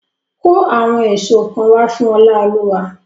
Kó àwọn èso kan wá fún Oláolúwa!